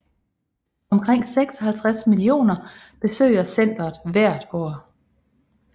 Omkring 56 millioner besøger centret hvert år